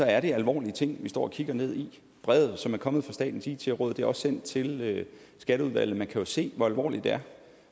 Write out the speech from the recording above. er det alvorlige ting vi står og kigger ned i brevet som er kommet fra statens it råd er også sendt til skatteudvalget man kan jo se hvor alvorligt det er